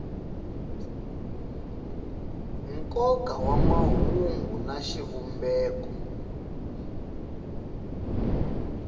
nkoka wa mahungu na xivumbeko